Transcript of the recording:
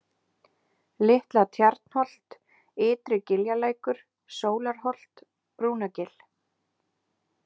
Litla-Tjarnholt, Ytri-Giljalækur, Sólarholt, Brúnagil